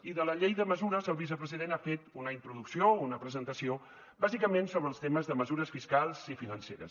i de la llei de mesures el vicepresident ha fet una introducció o una presentació bàsicament sobre els temes de mesures fiscals i financeres